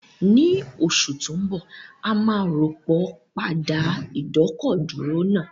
Ní oṣù tó ń bọ̀, a máa rọ́pò páàdì ìdọ́kọ̀dúró náà